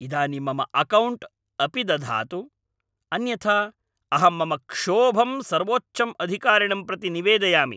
इदानीं मम अकौण्ट् अपिदधातु, अन्यथा अहं मम क्षोभं सर्वोच्चं अधिकारिणं प्रति निवेदयामि।